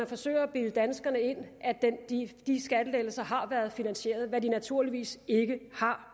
forsøger at bilde danskerne ind at de skattelettelser har været finansierede hvad de naturligvis ikke har